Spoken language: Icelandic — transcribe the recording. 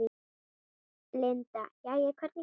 Linda: Jæja, hvernig gekk þetta?